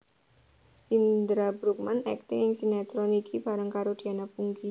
Indra Bruggman akting ing sinetron iki bareng karo Diana Pungky